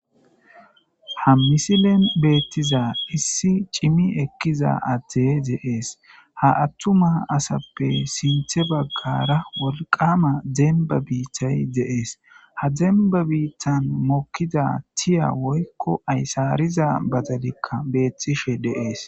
Ha misilen beettiza issi cimi ekkiza atte deees ha attuma asappe sinthe baggara wolqama demba biittay deees ha demba biittan mokkiza tiya woykko aysaariza bazalikka beettishe deees.